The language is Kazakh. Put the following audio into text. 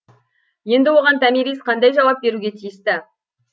енді оған томирис қандай жауап беруге тиісті